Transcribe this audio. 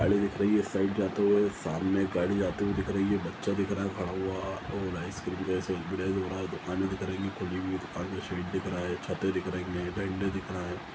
गाड़ी दिख रही है साइड जाते हुए सामने एक गाड़ी जाते हुए दिख रही है बच्चा दिख रहा है खड़ा हुआ और आइसक्रीम जैसे दुकाने दिख रही है खुली हुई दुकान का शेड दिख रहा है छते दिख रही है डंडे दिख रहा है।